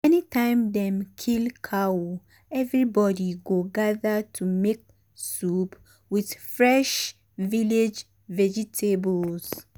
anytime dem kill cow everybody go gather to make um soup with fresh village vegetables.